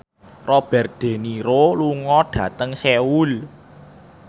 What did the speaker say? Robert de Niro lunga dhateng Seoul